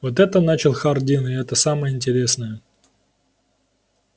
вот это начал хардин и это самое интересное